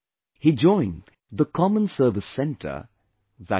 He joined the 'common service centre' i